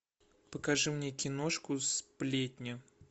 покажи мне киношку сплетня